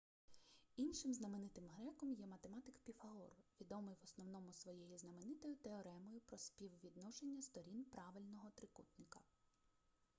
іншим знаменитим греком є ​​математик піфагор відомий в основному своєю знаменитою теоремою про співвідношення сторін правильного трикутника